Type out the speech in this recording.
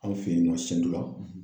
An fɛ yen nɔ la.